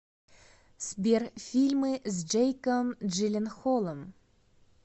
сбер фильмы с джейком джиленхолом